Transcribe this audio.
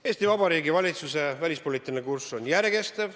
Eesti Vabariigi Valitsuse välispoliitiline kurss on järjekestev.